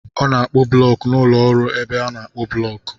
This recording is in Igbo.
Ọ na-akpụ blọk n'ụlọ ọrụ ebe a na-akpụ blọk.